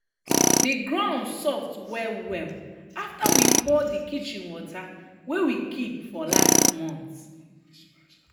de ground soft well well after we pour de kitchen water wey we keep for last month.